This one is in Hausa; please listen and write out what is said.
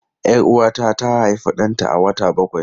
Yar Uwata ta haifi danta a wata bakwai.